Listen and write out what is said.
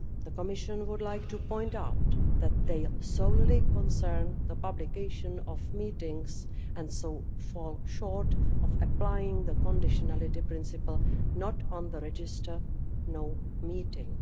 The Commission would like to point out that they solely concern the publication of meetings and so fall short of applying the conditionality principle not on the register, no meeting.